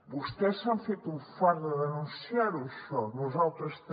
vostès s’han fet un fart de denunciar ho això nosaltres també